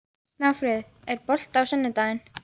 Snjáfríður, er bolti á sunnudaginn?